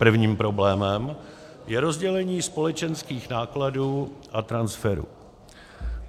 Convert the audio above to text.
Prvním problémem je rozdělení společenských nákladů a transferu.